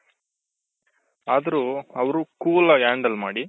ಅದ್ರು ಅವ್ರು cool ಆಗಿ handle ಮಾಡಿ